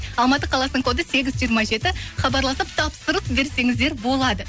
алматы қаласының коды хабарласып тапсырыс берсеңіздер болады